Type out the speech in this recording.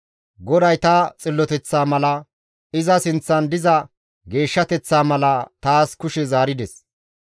GODAY ta xilloteththa mala, iza sinththan diza geeshshateththaa mala taas kushe zaarides.